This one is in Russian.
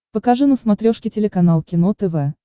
покажи на смотрешке телеканал кино тв